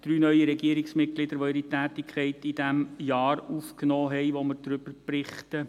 Drei neue Regierungsmitglieder nahmen ihre Tätigkeit in dem Jahr auf, über das wir berichten.